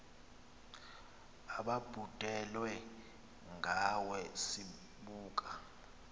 ababhudelwe ngawe sibuka